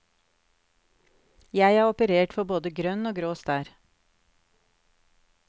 Jeg er operert for både grønn og grå stær.